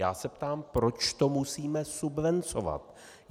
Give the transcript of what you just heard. Já se ptám, proč to musíme subvencovat.